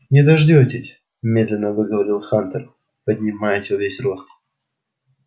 не дождёшься медленно выговорил хантер поднимаясь во весь рост